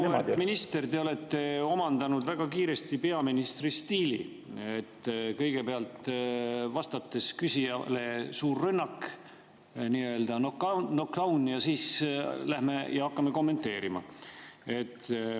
Auväärt minister, te olete omandanud väga kiiresti peaministri stiili: kõigepealt vastates küsijale suur rünnak, nii‑öelda nokdaun, ja siis hakatakse kommenteerima.